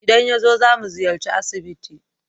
Idan yazo, zamu ziyarci asibiti.